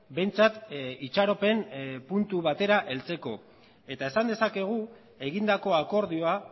behintzat itxaropen puntu batera heltzeko eta esan dezakegu egindako akordioa